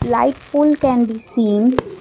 light pole can be seen.